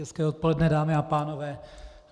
Hezké odpoledne, dámy a pánové.